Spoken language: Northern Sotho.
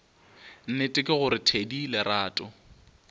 nnete ke gore thedi lerato